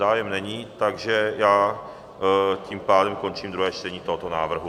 Zájem není, takže já tím pádem končím druhé čtení tohoto návrhu.